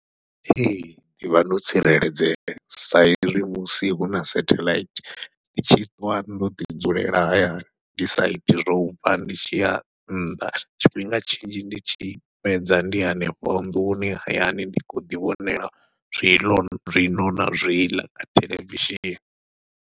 Ee ndi vha ndo tsireledzea sa ezwi musi huna setheḽaithi ndi tshi ṱwa ndo ḓi dzulela hayani, ndi saithi zwo ubva ndi tshi ya nnḓa tshifhinga tshinzhi ndi tshi fhedza ndi hanefho nḓuni hayani ndi khou ḓi vhonela zwiḽo na zwiḽa kha theḽevishini.